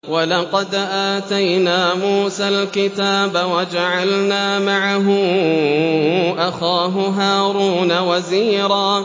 وَلَقَدْ آتَيْنَا مُوسَى الْكِتَابَ وَجَعَلْنَا مَعَهُ أَخَاهُ هَارُونَ وَزِيرًا